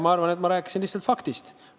Ma arvan, et ma rääkisin lihtsalt ühest faktist.